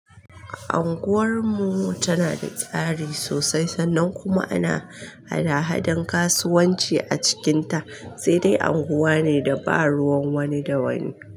Anguwar mu tana da tsari sosai sannan kuma ana hada-hadan kasuwanci a cikinta, sai dai unguwa ne da ba ruwan wani da wani.